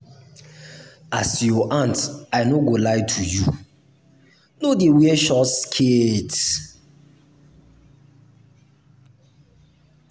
as your aunt i no go lie to you. no dey wear short skirt..